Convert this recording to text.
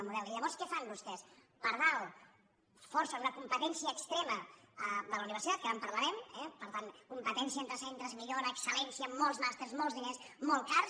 i llavors què fan vostès per dalt forcen una competència extrema de la universitat que ara en parlarem eh per tant competència entre centres millora excel·lència amb molts màsters molts diners molt cars